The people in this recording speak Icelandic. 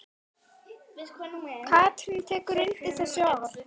Katrín tekur undir þessi orð.